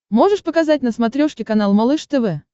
можешь показать на смотрешке канал малыш тв